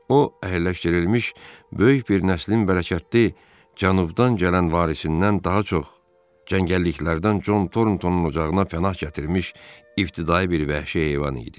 O, əhəlləşdirilmiş böyük bir nəslin bərəkətli cənubdan gələn varisindən daha çox, cəngəlliklərdən Con Torontonun ocağına pənah gətirmiş ibtidai bir vəhşi heyvan idi.